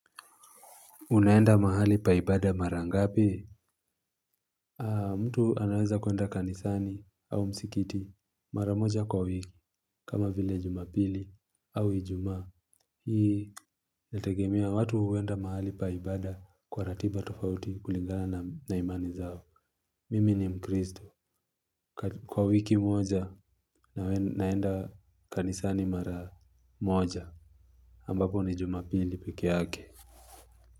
Unaenda mahali pa ibada mara ngapi mtu anaweza kuenda kanisani au msikiti mara moja kwa wiki kama vile jumapili au ijumaa hii inategemea watu huenda mahali pa ibada kwa ratiba tofauti kulingana na imani zao mimi ni mkrizto kwa wiki moja naenda kanisani mara moja ambapo ni jumapili peke yake.